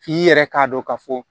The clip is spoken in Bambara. F'i yɛrɛ k'a dɔn ka fɔ